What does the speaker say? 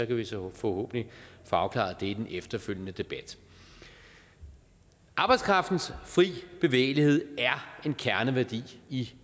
kan vi så forhåbentlig få afklaret i den efterfølgende debat arbejdskraftens frie bevægelighed er en kerneværdi i